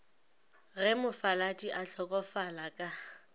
ge mofaladi a hlokofala ka